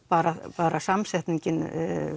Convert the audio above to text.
bara bara samsetningin